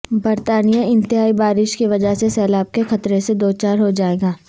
برطانیہ انتہائی بارش کی وجہ سے سیلاب کے خطرے سے دوچار ہو جائے گا